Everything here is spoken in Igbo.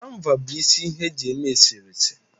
Kanva bụ isi ihe eji eme eserese